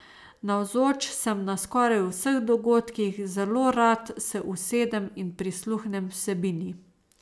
Navzoč sem na skoraj vseh dogodkih, zelo rad se usedem in prisluhnem vsebini.